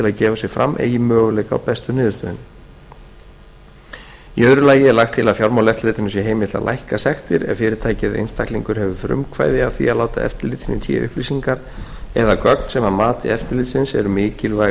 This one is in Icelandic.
að gefa sig fram eigi möguleika á bestu niðurstöðunni í öðru lagi er lagt til að fjármálaeftirlitinu sé heimilt að lækka sektir ef fyrirtæki eða einstaklingur hefur frumkvæði af því að láta eftirlitinu í té upplýsingar eða gögn sem að mati eftirlitsins eru mikilvæg